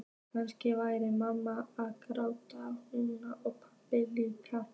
Kannski væri mamma að gráta núna og pabbi líka.